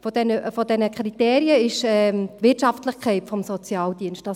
Eines dieser Kriterien ist die Wirtschaftlichkeit des Sozialdienstes.